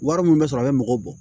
Wari min bɛ sɔrɔ a bɛ mɔgɔw bɔ